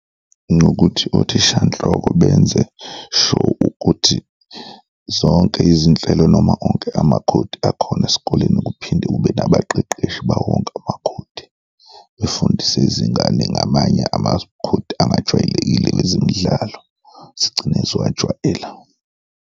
Ngokuthi othishanhloko benze sure ukuthi zonke izinhlelo noma onke amakhodi akhona esikoleni kuphinde kube nabaqeqeshi bawonke amakhodi befundise izingane ngamanye amakhodi angajwayelekile kwezemidlalo, zigcine ziwajwayela.